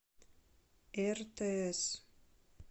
ртс